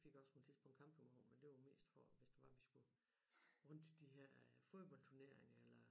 Vi fik også på et tidspunkt campingvogn men det var mest for hvis det var vi skulle rundt til de her øh fodboldturneringer eller